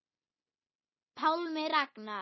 Pálmi Ragnar.